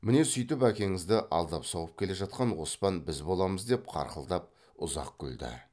міне сүйтіп әкеңізді алдап соғып келе жатқан оспан біз боламыз деп қарқылдап ұзақ күлді